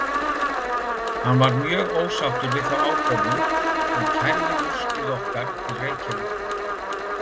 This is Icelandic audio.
Hann var mjög ósáttur við þá ákvörðun og kærði úrskurð okkar til Reykjavíkur.